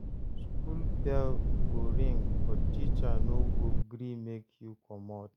School bell go ring, but teacher no go gree make you comot.